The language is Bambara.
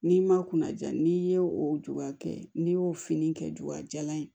N'i ma kuna ja n'i ye o juya kɛ n'i y'o fini kɛ jula jalan ye